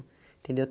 Entendeu?